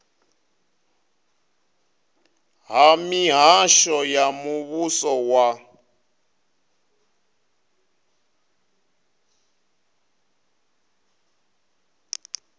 ha mihasho ya muvhuso wa